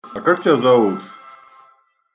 а как тебя зовут